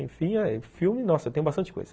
Enfim, filme, nossa, tem bastante coisa.